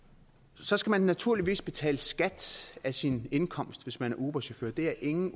så skal man naturligvis betale skat af sin indkomst hvis man er uberchauffør det er ingen